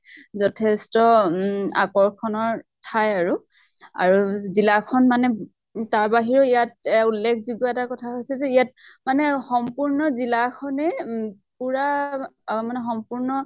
যথেষ্ট উম আকৰ্ষণৰ ঠাই আৰু জিলাখন মানে। তাৰ বাহিৰেও ইয়াত এ উল্লেখযোগ্য় কথা হৈছে ইয়াত মানে সম্পূৰ্ণ জিলাখনে পুৰা আহ মানে সম্পূৰ্ণ